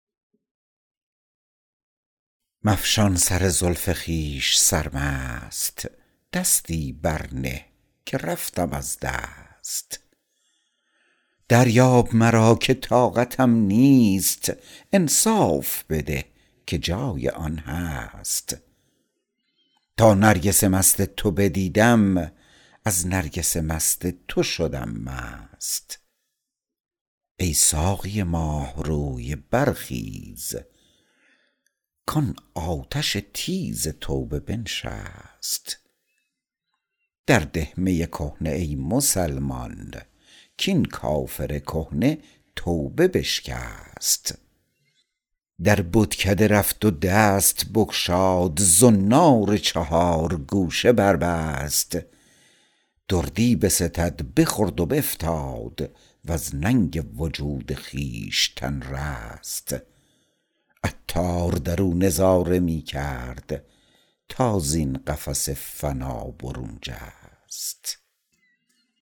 مفشان سر زلف خویش سرمست دستی بر نه که رفتم از دست دریاب مرا که طاقتم نیست انصاف بده که جای آن هست تا نرگس مست تو بدیدم از نرگس مست تو شدم مست ای ساقی ماه روی برخیز کان آتش تیز توبه بنشست در ده می کهنه ای مسلمان کین کافر کهنه توبه بشکست در بتکده رفت و دست بگشاد زنار چهار گوشه بربست دردی بستد بخورد و بفتاد وز ننگ وجود خویشتن رست عطار درو نظاره می کرد تا زین قفس فنا برون جست